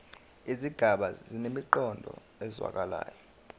izigaba zinemiqondo ezwakalayo